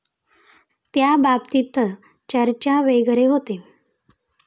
त्याबाबतीत चर्चा वगैरे होते?